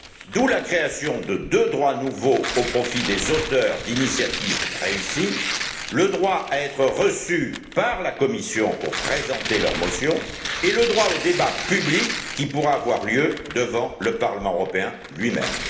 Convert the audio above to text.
D'où la création de deux droits nouveaux au profit des auteurs d'initiatives réussies le droit à être reçus par la Commission pour présenter leur motion et le droit au débat public, qui pourra avoir lieu devant le Parlement européen lui même.